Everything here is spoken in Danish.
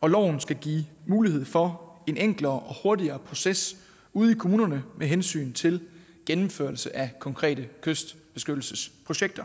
og loven skal give mulighed for en enklere og hurtigere proces ude i kommunerne med hensyn til gennemførelse af konkrete kystbeskyttelsesprojekter